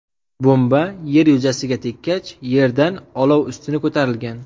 Bomba yer yuzasiga tekkach, yerdan olov ustuni ko‘tarilgan.